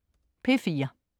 P4: